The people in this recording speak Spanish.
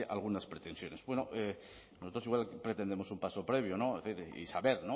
algunas pretensiones bueno nosotros igual pretendemos un paso previo y saber